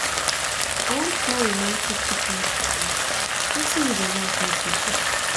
i wan plan romatic picnic for us wetin you go like make we do